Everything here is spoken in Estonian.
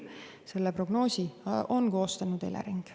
Selle prognoosi on koostanud Elering.